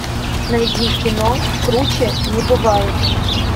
найди кино круче не бывает